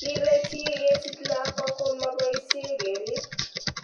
Kile chii kesich lakwa ko ma boisie keriib.